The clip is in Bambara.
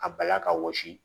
A bala ka wɔsi